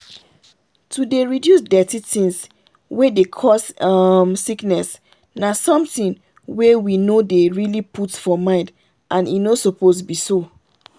to dey reduce dirty things wey dey cause um sickness na something wey we no dey really put for mind and e no suppose be so.